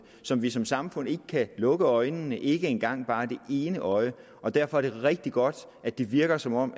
som vi som samfund ikke kan lukke øjnene for ikke engang bare det ene øje og derfor er det rigtig godt at det virker som om